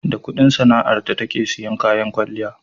da Ƙudin sana'ar ta take siyan kayan kwalliya